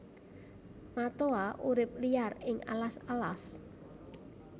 Matoa urip liar ing alas alas